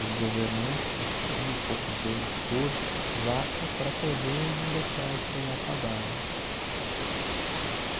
os governantes, acho que é mil e poucos euros por vaca para poder não deixar isso acabar né.